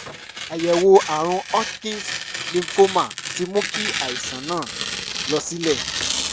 àyẹ̀wò ààrùn hodgkin's lymphoma ti mú kí àìsàn náà lọ sílẹ̀